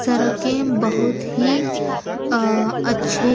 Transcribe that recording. सड़के बहुत ही अह अच्छे--